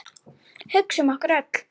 Hugsa um okkur öll.